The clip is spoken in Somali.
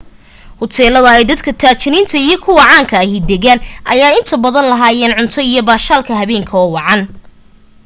hoteeladan ay dadka taajiriinta iyo kuwa caanka ah degaan ayaa inta badan lahaayeen cunto iyo baashaalka habeenka oo wacan